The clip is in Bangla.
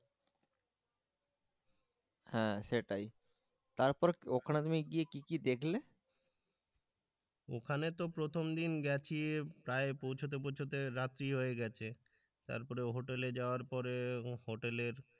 হ্যাঁ সেটাই তারপর ওখানে তুমি গিয়ে কি কি দেখলে ওখানে তো প্রথম দিন গেছে প্রায় পৌঁছতে পৌঁছতে রাত্রি হয়ে গেছে তারপরে হোটেলে যাওয়ার পরে হোটেলের,